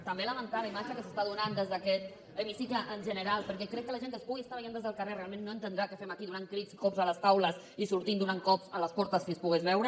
també lamentar la imatge que s’està donant des d’aquest hemicicle en general perquè crec que la gent que ens pugui estar veient des del carrer realment no entendrà què fem aquí donant crits cops a les taules i sortint donant cops a les portes si es pogués veure